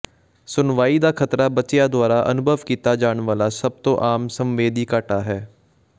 ਸੁਣਵਾਈ ਦਾ ਖਤਰਾ ਬੱਚਿਆਂ ਦੁਆਰਾ ਅਨੁਭਵ ਕੀਤਾ ਜਾਣ ਵਾਲਾ ਸਭ ਤੋਂ ਆਮ ਸੰਵੇਦੀ ਘਾਟਾ ਹੈ